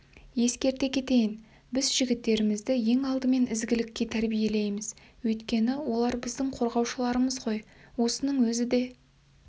ескерте кетейін біз жігіттерімізді ең алдымен ізгілікке тәрбиелейміз өйткені олар біздің қорғаушыларымыз ғой осының өзі де